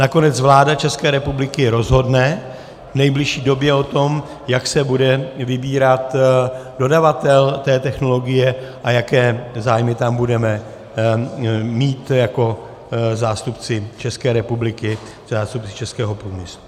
Nakonec vláda České republiky rozhodne v nejbližší době o tom, jak se bude vybírat dodavatel té technologie a jaké zájmy tam budeme mít jako zástupci České republiky, zástupci českého průmyslu.